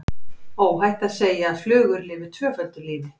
Óhætt er að segja að flugur lifi tvöföldu lífi.